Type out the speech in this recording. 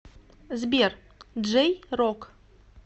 сбер джей рок